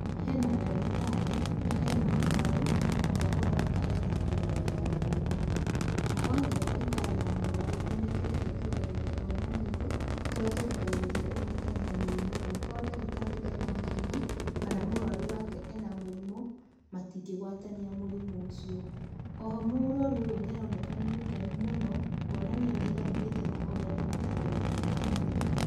He na ndagĩtarĩ na e na mũrwaru, ũrĩa ũroneka e na nguraro ya guoko. Na othe ndagĩtarĩ na mũrwaru nĩ mekĩrite tũrembeko twa maniũrũ tũrĩa tũrigagĩrĩria kũgwatania mũrimũ angĩkorwo ndagitarĩ e na mũrimũ, kana mũrwaru wake e na mũrimũ, matingĩgwatania mũrimũ ũcio. O ho mũrwaru ũyũ nĩ aroneka nĩ mũkenu mũno kuonania nĩaiganĩrĩte na ũrĩa ndagĩtari wake amũrigita.